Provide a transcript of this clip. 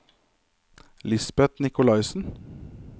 Lisbeth Nicolaysen